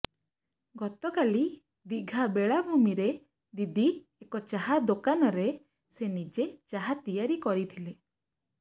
ଗତକାଲି ଦୀଘା ବେଳାଭୂମୀରେ ଦିଦି ଏକ ଚାହା ଦୋକାନରେ ସେ ନିଜେ ଚାହା ତିଆରି କରିଥିଲେ